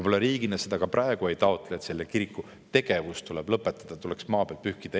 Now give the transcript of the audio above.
Me riigina ei taotle ka praegu seda, et selle kiriku tegevus tuleb lõpetada, et see tuleks maa pealt pühkida.